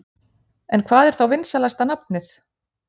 En hvað er þá vinsælasta nafnið?